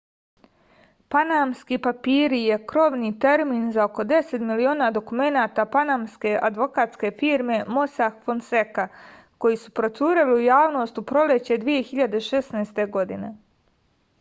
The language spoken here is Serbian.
panamski papiri je krovni termin za oko 10 miliona dokumenata panamske advokatske firme mosak fonseka koji su procureli u javnost u proleće 2016. godine